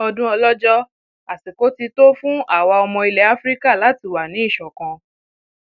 ọdún ọlọjọ àsìkò ti um tó fún àwa ọmọ ilẹ afrika um láti wà ní ìṣọkan